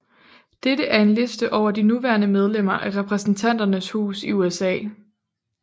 Dette er en liste over de nuværende medlemmer af Repræsentanternes Hus i USA